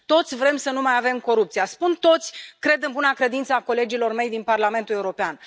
Toți vrem să nu mai avem corupție. Spun toți, cred în buna credință a colegilor mei din Parlamentul European.